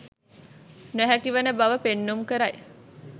නොහැකි වන බව පෙන්නුම් කරයි.